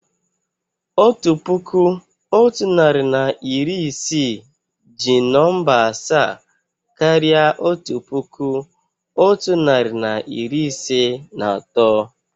Otu puku, otu narị na iri isii jí nọ̀mbà asaa káraà otu puku, otu narị na iri ise na atọ